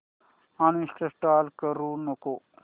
uninstall करू नको